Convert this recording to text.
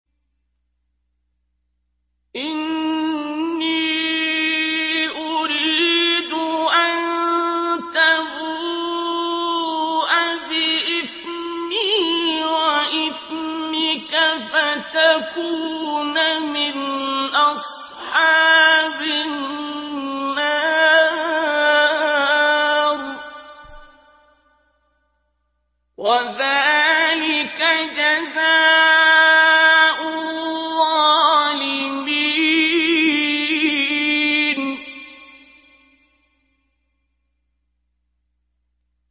إِنِّي أُرِيدُ أَن تَبُوءَ بِإِثْمِي وَإِثْمِكَ فَتَكُونَ مِنْ أَصْحَابِ النَّارِ ۚ وَذَٰلِكَ جَزَاءُ الظَّالِمِينَ